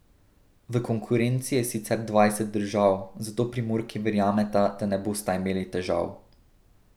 V konkurenci je sicer dvajset držav, zato Primorki verjameta, da ne bosta imeli težav.